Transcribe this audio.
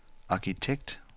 arkitekt